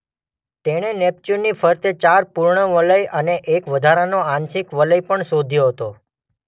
તેણે નેપ્ચ્યૂનની ફરતે ચાર પૂર્ણ વલય અને એક વધારાનો આંશિક વલય પણ શોધ્યો હતો.